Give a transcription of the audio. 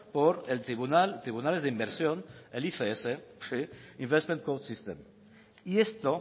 por tribunales de inversión el ifs sí y esto